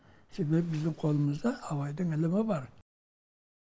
себебі біздің қолымызда абайдың ілімі бар